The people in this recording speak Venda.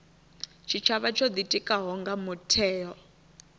tshitshavha tsho ḓitikaho nga mutheo